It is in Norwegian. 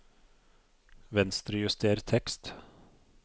Venstrejuster tekst